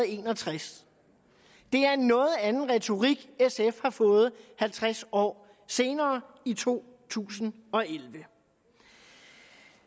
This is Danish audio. en og tres det er en noget anden retorik sf har fået halvtreds år senere i to tusind og elleve